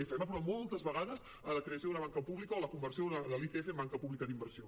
hem aprovat moltes vegades la creació d’una banca pública o la conversió de l’icf en banca pública d’inversió